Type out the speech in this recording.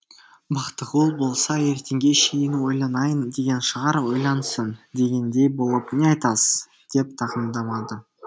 бақтығұл болса ертеңге шейін ойланайын деген шығар ойлансын дегендей болып не айтасыз деп тақымдамады